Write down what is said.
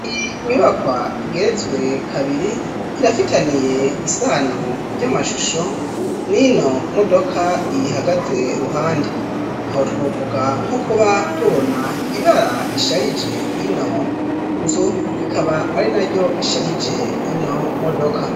Inyubakwa igeretswe kabiri irafitaniye isano ry'amashusho n'ino modoka iyihagaze ruhande. Aho twovuga nko kuba tubona ibara risharije ino nzu, rikaba ari naryo risharije ino modoka.